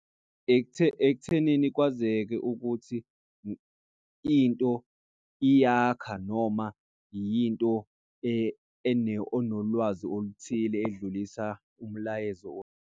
Ekuthenini kwazeke ukuthi into iyakha noma yinto onolwazi oluthile edlulisa umlayezo .